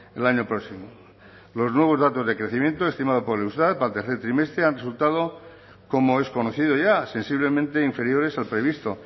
el año próximo los nuevos datos de crecimiento estimado por el eustat para el tercer trimestre han resultado como es conocido ya sensiblemente inferiores al previsto